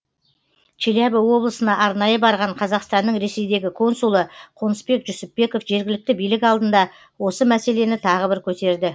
челябі облысына арнайы барған қазақстанның ресейдегі консулы қонысбек жүсіпбеков жергілікті билік алдында осы мәселені тағы бір көтерді